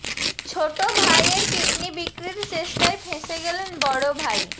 ছোট ভাইয়ের কিডনি বিক্রির চেষ্টায় ফেঁসে গেলেন বড় ভাই